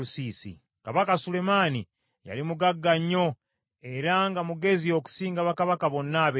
Kabaka Sulemaani yali mugagga nnyo era nga mugezi okusinga bakabaka bonna ab’ensi.